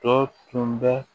Tɔ tun bɛ